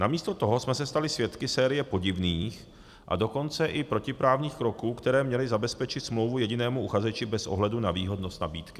Namísto toho jsme se stali svědky série podivných, a dokonce i protiprávních kroků, které měly zabezpečit smlouvu jedinému uchazeči bez ohledu na výhodnost nabídky.